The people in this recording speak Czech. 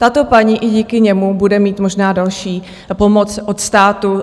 Tato paní i díky němu bude mít možná další pomoc od státu.